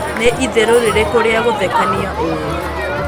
ni ĩtherũ rĩrĩkũ ria gũthekanĩa uũwi